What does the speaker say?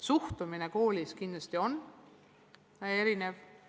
Suhtumine koolides on kindlasti erinev.